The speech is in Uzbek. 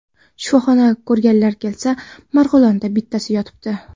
Shifoxonaga ko‘rganlar kelsa, Marg‘ilonda, bittasi yotibdi.